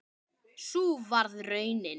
Sú varð raunin.